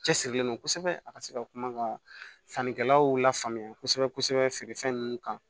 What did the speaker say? Cɛsirilen don kosɛbɛ a ka se ka kuma ka sannikɛlaw lafaamuya kosɛbɛ kosɛbɛ feere fɛn ninnu kan